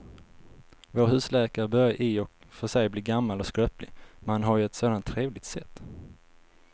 Vår husläkare börjar i och för sig bli gammal och skröplig, men han har ju ett sådant trevligt sätt!